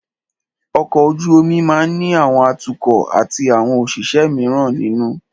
Ọkọ̀ ojú omi máà ní àwọn atukọ̀ atí àwọn òṣìṣẹ́ míràn nínú.